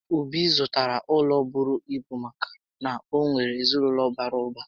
Obi zụtara ụlọ bụrụ ibu maka na o nwèrè ezinaụlọ bàrà ụba